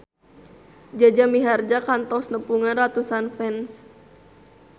Jaja Mihardja kantos nepungan ratusan fans